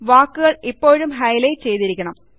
വാക്കുകൾ ഇപ്പോഴും ഹൈലൈറ്റ് ചെയ്തിരിക്കണം